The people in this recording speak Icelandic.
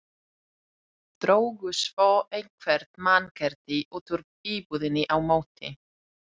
Drógu svo eitthvert mannkerti út úr íbúðinni á móti.